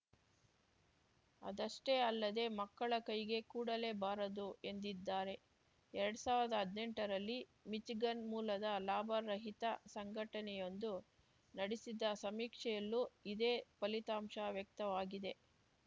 ಅದಷ್ಟೇ ಅಲ್ಲದೆ ಮಕ್ಕಳ ಕೈಗೆ ಕೊಡಲೇ ಬಾರದು ಎಂದಿದ್ದಾರೆ ಎರಡ್ ಸಾವ್ರ್ದಾ ಹದ್ನೆಂಟರಲ್ಲಿ ಮಿಚಿಗನ್‌ ಮೂಲದ ಲಾಭ ರಹಿತ ಸಂಘಟನೆಯೊಂದು ನಡೆಸಿದ ಸಮೀಕ್ಷೆಯಲ್ಲೂ ಇದೇ ಫಲಿತಾಂಶ ವ್ಯಕ್ತವಾಗಿದೆ